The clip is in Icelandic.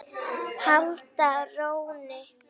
halda rónni.